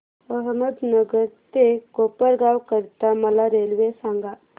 अहमदनगर ते कोपरगाव करीता मला रेल्वे सांगा